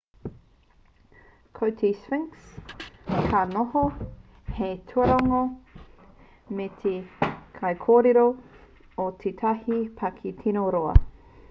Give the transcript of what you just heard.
ko te sphnix ka noho hei tuarongo me te kaikōrero o tētahi paki tino roa